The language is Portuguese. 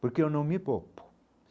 Porque eu não me poupo.